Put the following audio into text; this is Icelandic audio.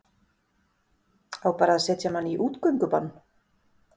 Á bara að setja mann í útgöngubann?